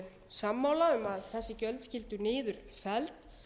sammála um að þessi gilda skyldu niður felld